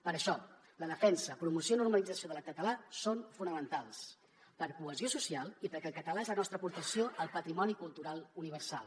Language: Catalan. per això la defensa promoció i normalització del català són fonamentals per cohesió social i perquè el català és la nostra aportació al patrimoni cultural universal